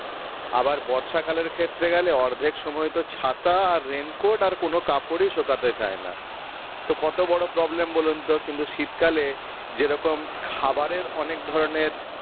আবার বর্ষাকালের ক্ষেত্রে গেলে অর্ধেক সময় তো ছাতা আর raincoat আর কোনো কাপড়ই শোকাতে চাই না তো কত বড়ো problem বলুন তো কিন্তু শীতকালে যেরকম খাবারের অনেক ধরণের